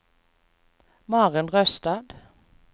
Maren Røstad